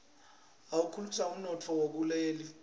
akhulisa umnotfo wakuleli